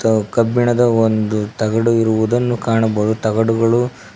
ಇದು ಕಬ್ಬಿಣದ ಒಂದು ತಗಡು ಇರುವುದನ್ನು ಕಾಣಬಹುದು ತಗಡುಗಳು--